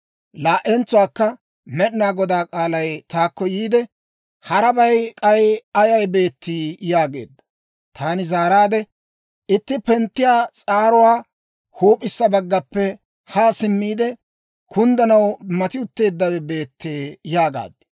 Laa"entsuwaakka Med'inaa Godaa k'aalay taakko yiide, «Harabay k'ay ayay beettii?» yaageedda. Taani zaaraadde, «Itti penttiyaa s'aaruu huup'issa baggappe haa simmiide, kunddanaw mati utteeddawe beettee» yaagaad.